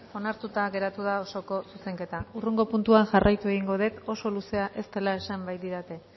onartuta geratu da osoko zuzenketa hurrengo puntuan jarraitu egingo dut oso luzea ez dela esan baitidate